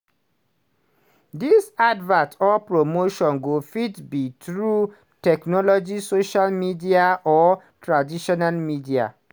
dis advert or promotion go fit be through technology social media or traditional media.